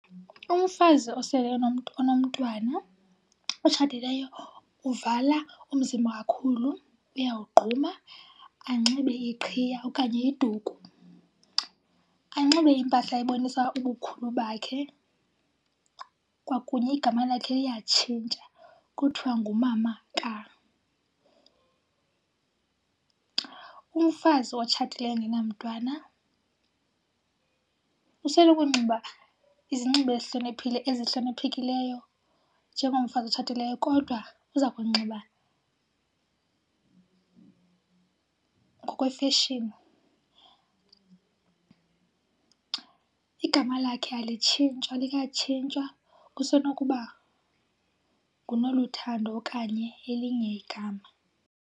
Umfazi osele enomntwana otshatileyo uvala umzimba kakhulu, uyawugquma anxibe iqhiya okanye iduku. Anxibe impahla ebonisa ubukhulu bakhe kwakunye igama lakhe liyatshintsha kuthwa ngumama ka. Umfazi otshatileyo engenamntwana usenokunxiba izinxibo ezihloniphile, ezihloniphekileyo njengomfazi otshatileyo kodwa uza kunxiba ngokwefeshini. Igama lakhe alitshintshwa alikatshintshwa, kusenokuba nguNoluthando okanye elinye igama.